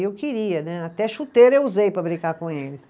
E eu queria né, até chuteira eu usei para brincar com eles.